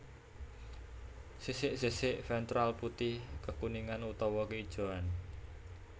Sisik sisik ventral putih kekuningan utawa keijoan